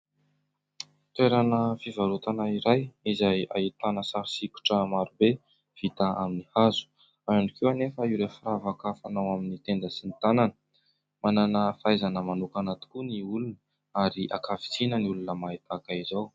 Toerana fivarotana iray izay ahitana sary sokitra maro be vita amin'ny hazo ao ihany koa anefa ireo firavaka fanao amin'ny tenda sy ny tanana, manana fahaizana manokana tokoa ny olona ary ankavitsiana ny olona mahay tahaka izao.